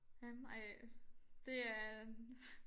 Øh ej det er